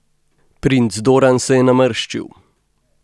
Princ Doran se je namrščil.